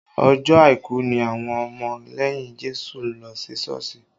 Ọjọ́ àìkú ni àwọn ọmọ lẹ́yìn Jésù ń lọ sí Sọ́ọ̀sì